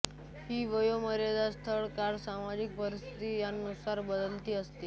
ही वयोमर्यादा स्थळ काळ व सामाजिक परीस्थिती यांनुसार बदलती असते